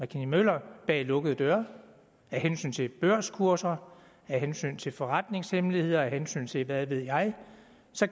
kinney møller bag lukkede døre af hensyn til børskurser af hensyn til forretningshemmeligheder af hensyn til hvad ved jeg